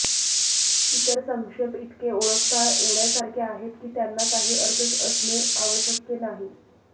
इतर संक्षेप इतके ओळखता येण्यासारखे आहेत की त्यांना काही अर्थ असणे आवश्यक नाही